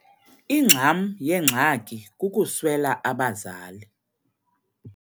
Ingxam yengxaki kukuswela abazali.